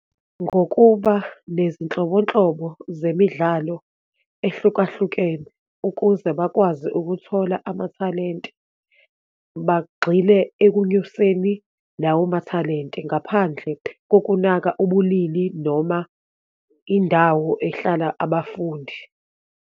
Ngokuba nezinhlobonhlobo zemidlalo ehlukahlukene ukuze bakwazi ukuthola amathalente, bagxile ekunyuseni lawo mathalente ngaphandle kokunaka ubulili noma indawo ehlala abafundi.